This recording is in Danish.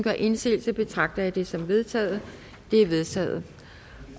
gør indsigelse betragter jeg det som vedtaget det er vedtaget